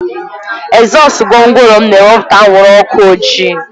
Ezọsu gwongworo m na-ewepụta anwụrụ ọkụ ojii